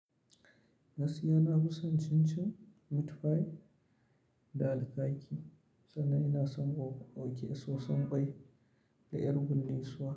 Gaskiya na fisan chin chin, meat pie da alkaki sannan ina son o- ok soson kwai da ƴar gullisuwa.